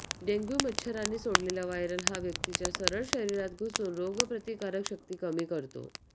dengue मच्छरांनी सोडलेला viral हा व्यक्तीच्या सरळ शरीरात घुसून रोगप्रतिकारक शक्ती कमी करतो